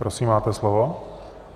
Prosím, máte slovo.